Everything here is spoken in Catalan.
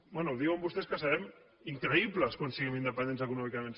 bé diuen vostès que serem increïbles quan siguem independents econòmicament